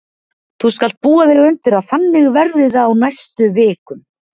Þú skalt búa þig undir að þannig verði það á næstu vik- um.